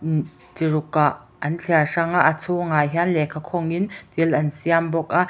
im chi ruk ah an thliar hrang a a chhungah hian lehkha khawng in thil an siam bawk a.